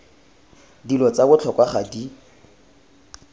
dilo tsa botlhokwa ga di